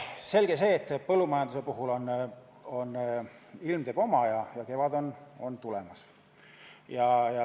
Selge see, et põllumajanduses teeb ilm oma ja kevad on tulemas.